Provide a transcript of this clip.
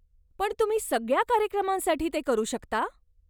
पण तुम्ही सगळ्या कार्यक्रमांसाठी ते करू शकता?